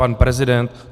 Pan prezident?